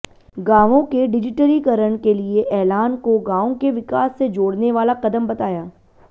गांवों के डिजिटलीकरण के लिए ऐलान को गांव के विकास से जोड़ने वाला कदम बताया